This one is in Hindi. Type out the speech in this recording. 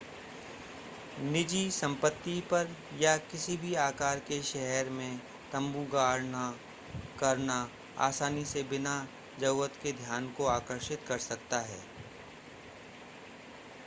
निजी संपत्ति पर या किसी भी आकार के शहर में तम्बू गाढ़ना करना आसानी से बिना जरुरत के ध्यान को आकर्षित कर सकता है